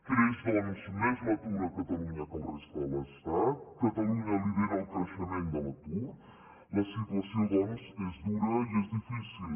creix doncs més l’atur a catalunya que a la resta de l’estat catalunya lidera el creixement de l’atur la situació doncs és dura i és difícil